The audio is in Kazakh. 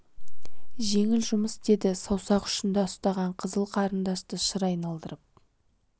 жеңіл жұмыс деді саусақ ұшында ұстаған қызыл қарындашты шыр айналдырып